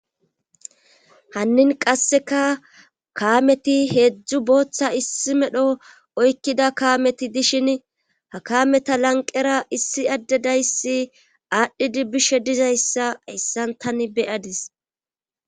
Hannin qasseka kaameti heedzdzu bootha issi medho oykkida kaameti dishini ha kaameta lanqqera issi addedayssi aadhidi bishe dizayssa hayssan tani be7adis.